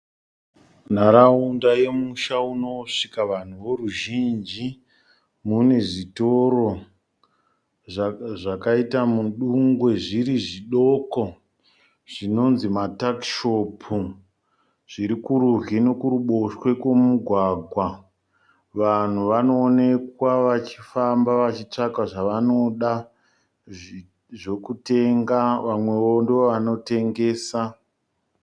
Nharaunda yemusha unosvika vanhu voruzhinji. Mune zvitoro zvakaita mudungwe zviri zvodoko zvinonzi matakishopu. Zviri kurudyi nokuruboshwe kwemugwagwa. Vanhu vanonekwa vachifamba vachitsvaka zvavanoda zvokutenga vamwewo ndovanotengesa.